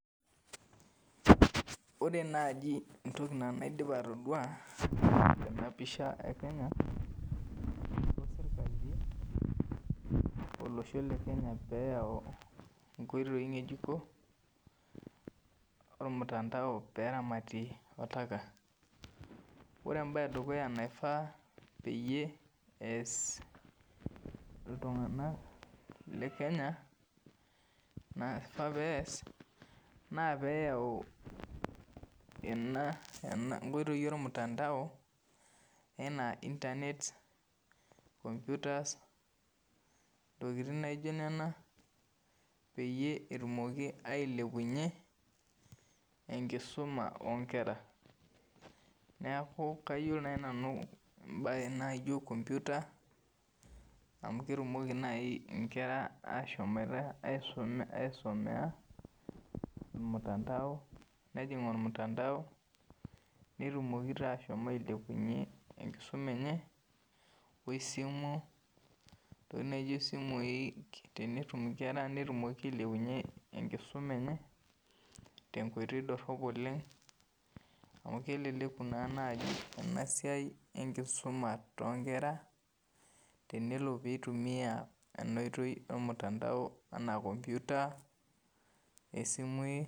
Ore naaji entoki naa naidipa atodua tena pidha e Kenya ashu sirkali elosho le Kenya peyau inkoitoi ngejuko ormutandao peeramatie oltaka, ore embaye edukuya naifaa peyie eyas iltungana le Kenya, naifaa peeyas naa peyau ena, nkoitoi e ormutandao enaa intanet, komputas, ntokitin naijo nena peyie etumoki ailepunye enkisuma oonkera, neaku kayolo nai nanu imbaye naijo kompyuta amu ketumoki nai inkera ashomata asumes ilmutandao, nejing ormutandao, netumoki taa ashom ailepunye enkisuma enye o esimu, teweji naijo esimui, netumi inkera netumoki ailepunye enkisuma enye te nkoitoi dorop oleng, amu keleleku nai naaji ena siai enkisuma too inkera, tenelo peitumiya ena oitoi ormutandao enaa nkompyuta, esimui.